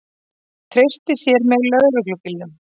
Treysti sér með lögreglubílnum